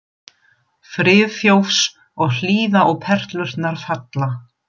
Friðþjófs og hlýða á perlurnar falla.